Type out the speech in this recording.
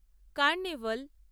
carnival